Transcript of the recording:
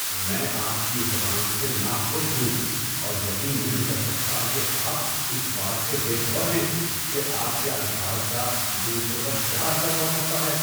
میں آپ کی زبان سے ناخوش ہوں اور یقین نہیں کر سکتا کہ آپ اس بات سے بے خبر ہیں کہ آپ کے الفاظ کا دوسروں پر کیا اثر پڑ سکتا ہے۔